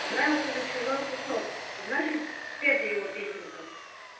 позарился на чужой кусок значит спета его песенка